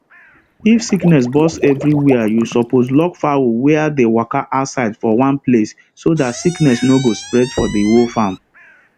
if sickness burst everywere you suppose lock fowl were the waka outside for one place so that sickness no go spread for the whole farm